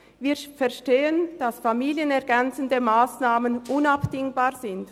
Wir verstehen, dass familienergänzende Massnahmen unabdingbar sind.